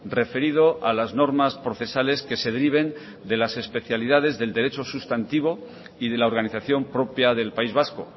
referido a las normas procesales que se deriven de las especialidades del derecho sustantivo y de la organización propia del país vasco